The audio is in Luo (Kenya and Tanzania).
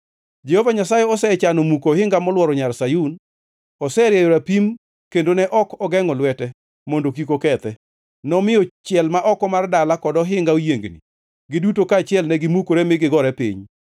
Jehova Nyasaye osechano muko ohinga molworo Nyar Sayun. Oserieyo rapim kendo ne ok ogengʼo lwete mondo kik okethe. Nomiyo chiel ma oko mar dala kod ohinga oyiengni, giduto kaachiel ne gimukore mi gigore piny.